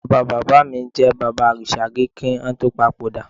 Bàbá bàbá mi jẹ bàbárìṣà rí kí wọn tó papòdà